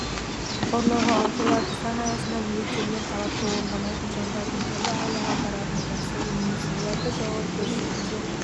қорғауға ұмтылады заң аясында міндеттелген талапты орындамайтын жандардың түрлі айлаға баратыны жасырын емес оларды жауапкершілікке